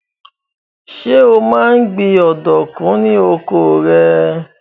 Ṣé o máa ń gbin ọ̀dùnkún ní oko rẹ?